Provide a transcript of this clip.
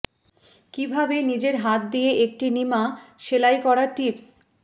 কিভাবে নিজের হাত দিয়ে একটি নিমা সেলাই করা টিপস